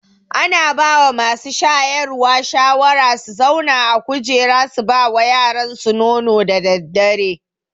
Ana bawa masu shayarwa shawara su zauna a kujera su bawa yaransu nono da daddare